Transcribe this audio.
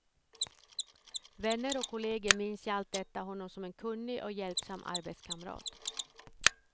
Vänner och kolleger minns i allt detta honom som en kunnig och hjälpsam arbetskamrat.